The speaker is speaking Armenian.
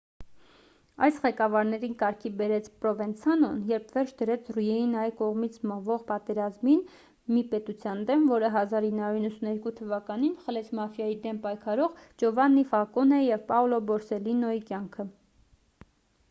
այս ղեկավարներին կարգի հրավիրեց պրովենցանոն երբ վերջ դրեց ռիինայի կողմից մղվող պատերազմին մի պետության դեմ որը 1992 թ խլեց մաֆիայի դեմ պայքարող ջովաննի ֆալկոնեի և պաոլո բորսելլինոյի կյանքը